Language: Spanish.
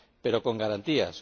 Pero con garantías.